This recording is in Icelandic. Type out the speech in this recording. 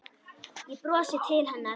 Ég brosi til hennar.